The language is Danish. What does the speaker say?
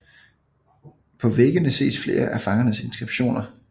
På væggene ses flere af fangernes inskriptioner